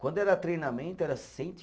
Quando era treinamento, era cento e